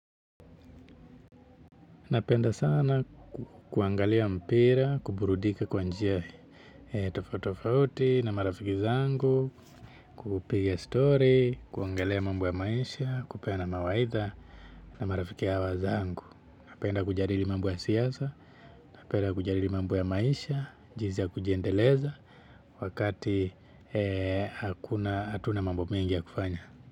Napenda sana kuangalia mpira, kuburudika kwa njia tofautofauti na marafiki zangu, kupiga stori, kuongelea mambo ya maisha, kupeana mawaidha na marafiki hawa zangu. Napenda kujadili mambo ya siasa, napenda kujadili mambo ya maisha, jinsi ya kujiendeleza wakati hatuna mambo mengi ya kufanya.